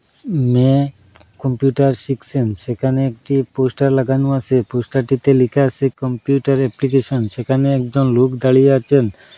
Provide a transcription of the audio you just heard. Computer শিখসেন সেখানে একটি পোস্টার লাগানো আসে পোস্টার টিতে লেখা আসে কম্পিউটার অ্যাপ্লিকেশন সেখানে একজন লোক দাঁড়িয়ে আছেন।